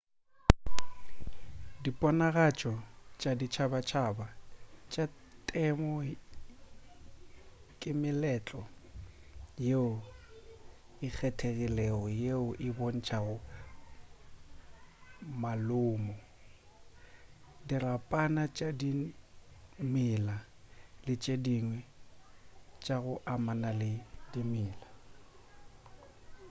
diponagatšo tša ditšhabatšhaba tša temo ke meletlo yeo e kgethegilego yeo e bontšago malomo dirapana tša dimela le tše dingwe tša go amana le dimela